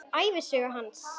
Ævisögu hans.